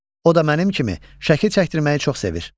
O da mənim kimi şəkil çəkdirməyi çox sevir.